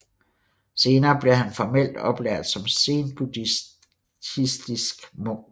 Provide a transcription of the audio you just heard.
Senere blev han formelt oplært som zenbuddhistsik munk